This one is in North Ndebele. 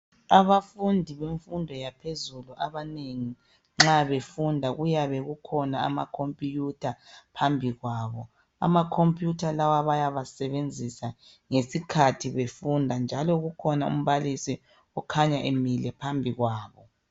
Abafundi bemfundo yaphezulu abanengi nxa befunda kuyabe kukhona amacompiyutha phambi kwabo. Amacompiyutha lawa bayawasebenzisa ngesikhathi befunda njalo kukhona umbalisi okhanya emile phambi kwabo.